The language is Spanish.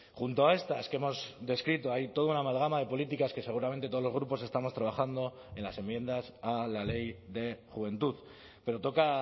junto a estas que hemos descrito hay toda una amalgama de políticas que seguramente todos los grupos estamos trabajando en las enmiendas a la ley de juventud pero toca